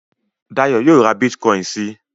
Dayọ̀ yóò ra bítíkọ́ìn si.